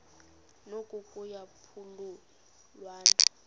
noko kuya phululwana